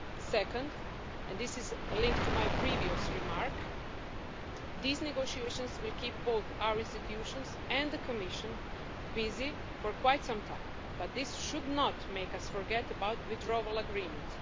Second, and this is a link to my previous remark, these negotiations will keep both our institutions and the Commission busy for quite some time, but this should not make us forget about the Withdrawal Agreement.